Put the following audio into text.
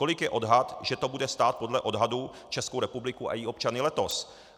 Kolik je odhad, že to bude stát podle odhadů Českou republiku a její občany letos.